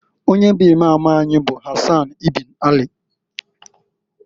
Onye bụ Imam anyị bụ Hasan ibn Ali.